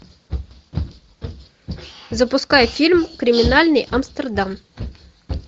запускай фильм криминальный амстердам